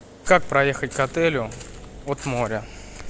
как проехать к отелю от моря